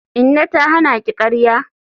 Inna ta hana ki karya?